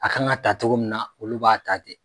A kan ka ta cogo min na olu b'a ta ten.